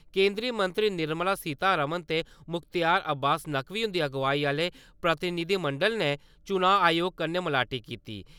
केंदरी मंत्री निर्मला सीता रमण ते मुख्तार अब्बास नकवी हुन्दी अगुआई आले प्रतिनिधिमंडल ने चुनां आयोग कन्नै मलाटी कीती।